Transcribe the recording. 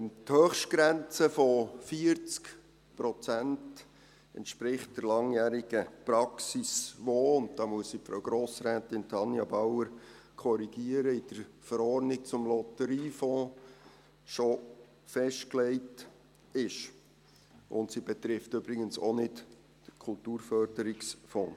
Die Höchstgrenze von 40 Prozent entspricht der langjährigen Praxis, die – und da muss ich Grossrätin Tanja Bauer korrigieren – in der Lotterieverordnung (LV) schon festgelegt ist, und sie betrifft übrigens auch nicht den Kulturförderungsfonds.